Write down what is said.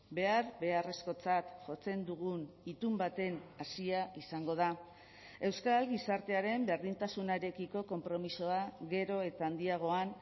behar beharrezkotzat jotzen dugun itun baten hazia izango da euskal gizartearen berdintasunarekiko konpromisoa gero eta handiagoan